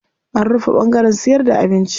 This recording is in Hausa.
An rufe ɓangaren siyarda da abinci.